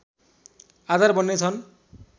आधार बन्ने छ्न्